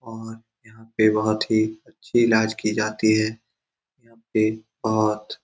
और यहाँ पे बहुत ही अच्छे इलाज की जाती है यहाँ पे बहोत --